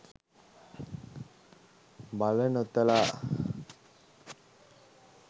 මල නොතලා